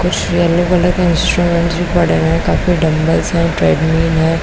कुछ yellow colour के instruments भी पड़े हुए हैं काफी डमब्ल हैं ट्रेडमिल है।